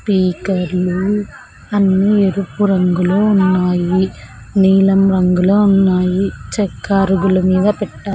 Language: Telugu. పీకర్లు అన్నీ ఎరుపు రంగులో ఉన్నాయి నీలం రంగులో ఉన్నాయి చెక్క అరుగుల మీద పెట్ట --